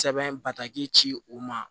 Sɛbɛn bataki ci u ma